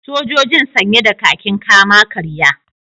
Sojojin sanye da kakin kama-karya